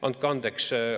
Andke andeks!